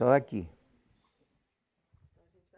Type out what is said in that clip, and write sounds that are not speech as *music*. Só aqui. *unintelligible*